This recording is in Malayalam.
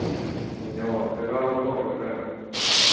പിന്നെ ഓർക്കൊക്കെ അവടെ സ്വർഗാണ്